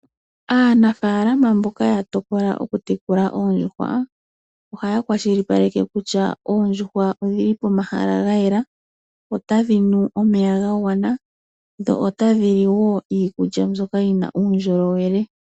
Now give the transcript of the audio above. Aanafalama mboka ta tokola okutekula oondjuhwa ohaya kwashilipaleke kutya oondjuhwa odhili pehala lyayela, otadhi nu omeya ga gwana dho otadhi li iikulya mbyoka yina uundjolowele.